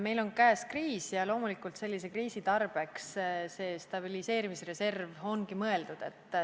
Meil on käes kriis ja loomulikult sellise kriisi tarbeks see stabiliseerimisreserv ongi mõeldud.